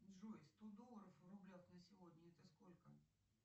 джой сто долларов в рублях на сегодня это сколько